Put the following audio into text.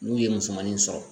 N'u ye musomanin sɔrɔ